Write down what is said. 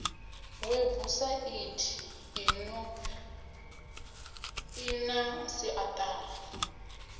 webusaithi ino i na siaṱari